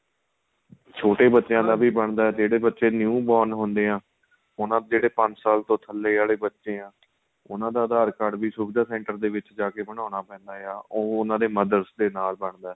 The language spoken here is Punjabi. ਛੋਟੇ ਬੱਚਿਆਂ ਬਣਦਾ ਏ ਜਿਹੜੇ ਬੱਚੇ new born ਹੁੰਦੇ ਆ ਉਹਨਾ ਜਿਹੜੇ ਪੰਜ ਸਾਲ ਤੋ ਥੱਲੇ ਆਲੇ ਬੱਚੇ ਹਾਂ ਉਹਨਾ ਦਾ aadhar card ਵੀ ਸੁਵਿਧਾ center ਦੇ ਵਿੱਚ ਜਾਕੇ ਬਣਾਉਣਾ ਪੈਂਦਾ ਆ ਉਹ ਉਹਨਾ ਦੇ mother ਦੇ ਨਾਲ ਬਣਦਾ